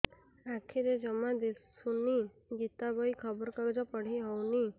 ଆଖିରେ ଜମା ଦୁଶୁନି ଗୀତା ବହି ଖବର କାଗଜ ପଢି ହଉନି